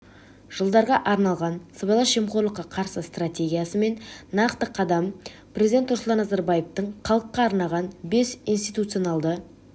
жылдарға арналған сыбайлас жемқорлыққа қарсы стартегиясы мен нақты қадам президенті нұрсұлтан назарбаевтың халыққа арнаған бес институционалды